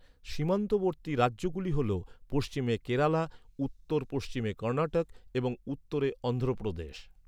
সীমান্তবর্তী রাজ্যগুলি হল পশ্চিমে কেরালা, উত্তর পশ্চিমে কর্ণাটক এবং উত্তরে অন্ধ্র প্রদেশ।